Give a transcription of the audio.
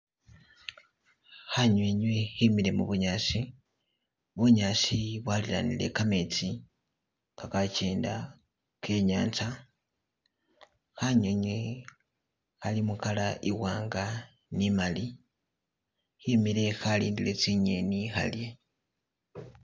Khanywinywi khimile mubunyaasi, bunyaasi bwalilanile kametsi gagagenda genyatsa khanywinywi khali mu color iwanga ni imali khemile khalidile tsinyeni khalye.